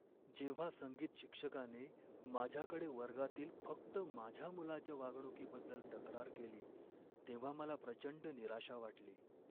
जेव्हा संगीत शिक्षकाने माझ्याकडे वर्गातील फक्त माझ्या मुलाच्या वागणुकीबद्दल तक्रार केली तेव्हा मला प्रचंड निराशा वाटली.